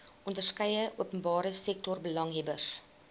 onderskeie openbare sektorbelanghebbers